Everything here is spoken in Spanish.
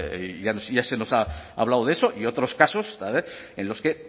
y ya se nos ha hablado de eso y otros casos en los que